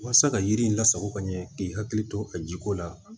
Walasa ka yiri in lasago ka ɲɛ k'i hakili to a jiko la